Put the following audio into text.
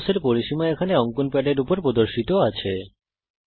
রম্বসের পরিসীমা এখানে অঙ্কন প্যাডের উপর প্রদর্শিত আছে